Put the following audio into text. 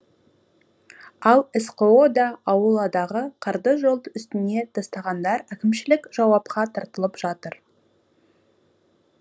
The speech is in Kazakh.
ал сқо да ауладағы қарды жол үстіне тастағандар әкімшілік жауапқа тартылып жатыр